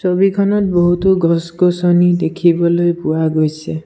ছবিখনত বহুতো গছ-গছনি দেখিবলৈ পোৱা গৈছে।